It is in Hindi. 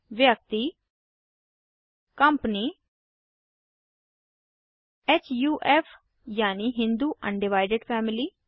व्यक्ति कम्पनी हुफ यानि हिन्दू अनडिवाइडेड फैमिली